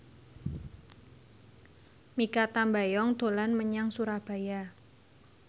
Mikha Tambayong dolan menyang Surabaya